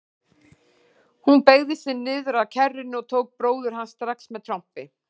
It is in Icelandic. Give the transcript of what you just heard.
Hún beygði sig niður að kerrunni og tók bróður hans strax með trompi.